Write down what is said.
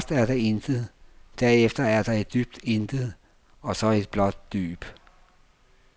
Først er der intet, derefter er der et dybt intet og så et blåt dyb.